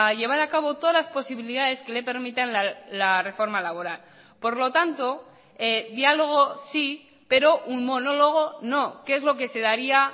llevar a cabo todas las posibilidades que le permiten la reforma laboral por lo tanto diálogo sí pero un monólogo no que es lo que se daría